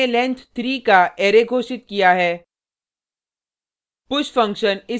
यहाँ हमने लेंथ 3 का अरै घोषित किया है